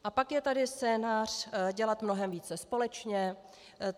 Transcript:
A pak je tady scénář dělat mnohem více společně.